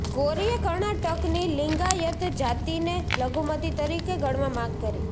ગૌરીએ કર્ણાટકની લિંગાયત જાતિને લઘુમતી તરીકે ગણવા માગ કરી